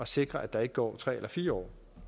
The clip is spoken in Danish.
sikre at der ikke går tre eller fire år